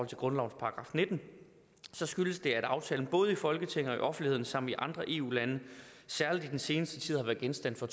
til grundlovens § nitten så skyldes det at aftalen både i folketinget og i offentligheden samt i andre eu lande særlig i den seneste tid har været genstand for